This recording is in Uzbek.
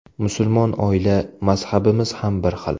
Musulmon oila, mazhabimiz ham bir xil.